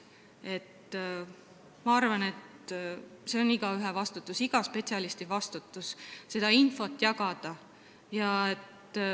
Ma arvan, et see on igaühe ülesanne, iga spetsialisti ülesanne seda infot jagada.